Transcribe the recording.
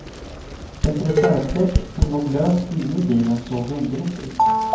Ett reservdäck som låg löst inne i bilen såg underligt ut.